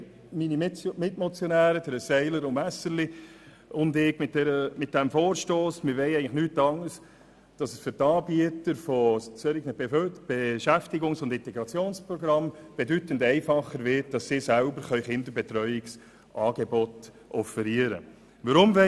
Meine Mitmotionäre, die Grossräte Seiler und Messerli und ich wollen, dass solche Programme ihre Betreuungsangebote selbst offerieren können.